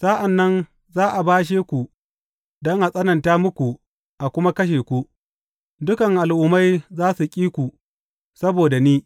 Sa’an nan za a bashe ku don a tsananta muku a kuma kashe ku, dukan al’ummai za su ƙi ku saboda ni.